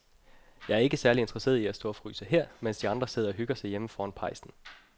Jeg er ikke særlig interesseret i at stå og fryse her, mens de andre sidder og hygger sig derhjemme foran pejsen.